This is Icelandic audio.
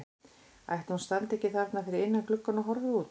Ætli hún standi ekki þarna fyrir innan gluggann og horfi út?